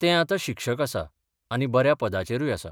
तें आतां शिक्षक आसा आनी बऱ्या पदाचेरूय आसा.